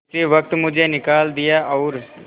उसी वक्त मुझे निकाल दिया और